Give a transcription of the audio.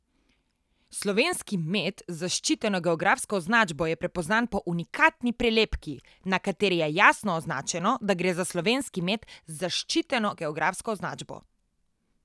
Slovenski med z zaščiteno geografsko označbo je prepoznan po unikatni prelepki, na kateri je jasno označeno, da gre za slovenski med z zaščiteno geografsko označbo.